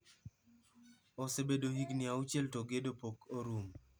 " Osebedo higni auchiel to gedo pok orumo.